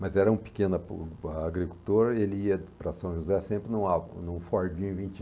Mas era um pequeno o a agricultor, ele ia para São José sempre numa num Fordim vinte